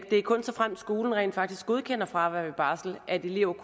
såfremt skolen rent faktisk godkender fravær ved barsel at eleven